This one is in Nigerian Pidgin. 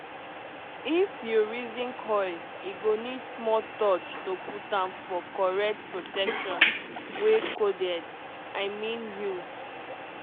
if you reason coil e go need small touch to put am --for correct protection wey coded. i mean u